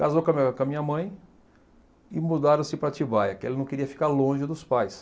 Casou com a minha com a minha mãe e mudaram-se para Atibaia, que ele não queria ficar longe dos pais.